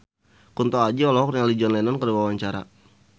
Kunto Aji olohok ningali John Lennon keur diwawancara